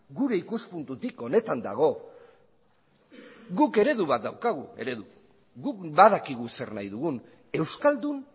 gure ikuspuntutik honetan dago guk eredu bat daukagu guk badakigu zer nahi dugun euskaldun